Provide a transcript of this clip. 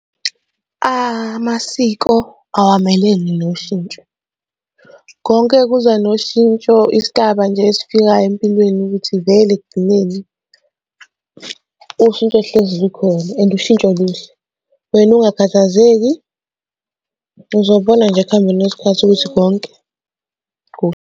Amasiko awamelene noshintsho, konke kuza noshintsho isigaba nje esifikayo empilweni ukuthi vele ekugcineni ushintsho hlezi lukhona and ushintsho luhle. Wena ungakhathazeki, uzobona nje ekuhambeni kwesikhathi, ukuthi konke .